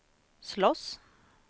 slåss